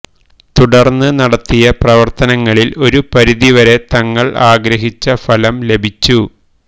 തുടര്ന്ന് നടത്തിയ പ്രവര്ത്തനങ്ങളില് ഒരു പരിധി വരെ തങ്ങള് ആഗ്രഹിച്ച ഫലം ലഭിച്ചു